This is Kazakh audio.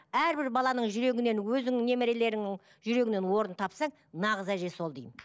әрбір баланың жүрегінен өзіңнің немерелеріңнің жүрегінен орын тапсаң нағыз әже сол деймін